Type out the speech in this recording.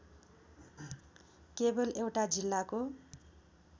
केवल एउटा जिल्लाको